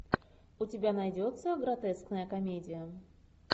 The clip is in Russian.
у тебя найдется гротескная комедия